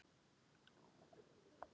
Hann er traustur.